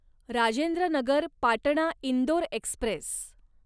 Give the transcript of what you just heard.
Rajendra Nagar Patna Indore Express